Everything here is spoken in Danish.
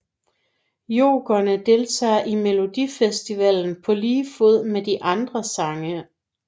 Jokerne deltager i Melodifestivalen på lige fod med de andre sange